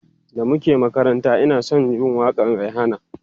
da muke makaranta Ina San Jin waƙan Rihanna